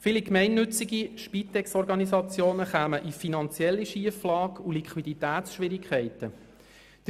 Viele gemeinnützigen Spitexorganisationen würden in eine finanzielle Schieflage und in Liquiditätsschwierigkeiten geraten.